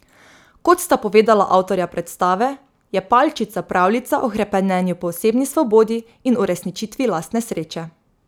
Kot sta povedala avtorja predstave, je Palčica pravljica o hrepenenju po osebni svobodi in uresničitvi lastne sreče.